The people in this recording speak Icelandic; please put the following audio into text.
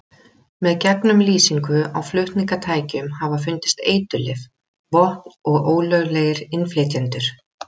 Með gegnumlýsingu á flutningatækjum hafa fundist eiturlyf, vopn og ólöglegir innflytjendur.